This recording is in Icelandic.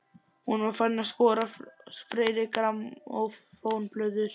Hún var farin að skoða fleiri grammófónplötur.